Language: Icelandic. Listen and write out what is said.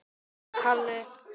Allir voru að skemmta sér.